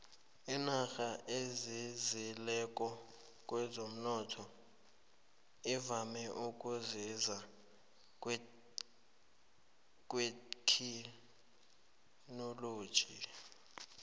inarha ezinzileko kwezomnotho ivame ukuzinza kuthekhinoloji